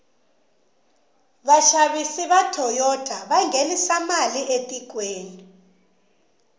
vashavisi vatoyota vangenisa male atikweni